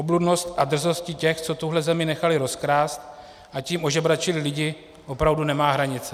Obludnost a drzost těch, co tuhle zemi nechali rozkrást, a tím ožebračili lidi, opravdu nemá hranice.